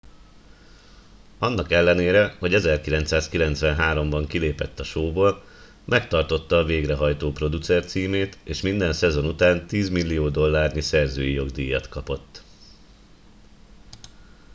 annak ellenére hogy 1993 ban kilépett a showból megtartotta a végrehajtó producer címét és minden szezon után tízmillió dollárnyi szerzői jogdíjat kapott